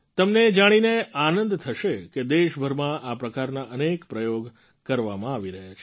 તમને એ જાણીને આનંદ થસે કે દેશભરમાં આ પ્રકારના અનેક પ્રયોગ કરવામાં આવી રહ્યા છે